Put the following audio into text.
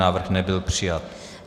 Návrh nebyl přijat.